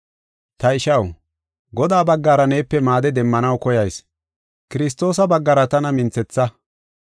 Ta ishaw, Godaa baggara neepe maade demmanaw koyayis. Kiristoosa baggara tana minthetha.